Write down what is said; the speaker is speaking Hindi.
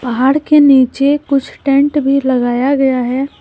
पहाड़ के नीचे कुछ टेंट भी लगाया गया है।